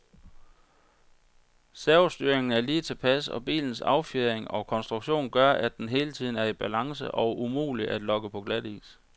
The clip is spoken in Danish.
Servostyringen er lige tilpas, og bilens affjedring og konstruktion gør, at den hele tiden er i balance og umulig at lokke på glatis.